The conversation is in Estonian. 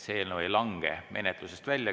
See eelnõu ei lange menetlusest välja.